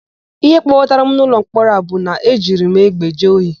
Íhé kpọbatara m n'ụlọmkpọrọ a bụ na e jiri m egbe jee ohi.